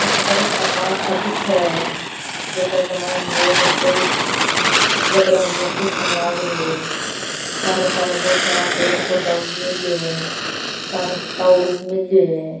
अठे बर्फ का पहाड़ सा दिखें हैं जका के मायने लोग कई लकडिया लिया तिसलन लाग रिया है सारे सारे बहुत सारा पेड़ पौधा उग मेल्या है सारे टावर उग मेल्यो है।